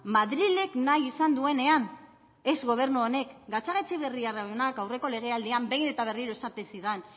madrilek nahi izan duenean ez gobernu honek gatzagaetxeberria jaunak aurreko legealdian behin eta berriro esaten zidan